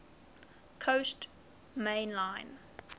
coast main line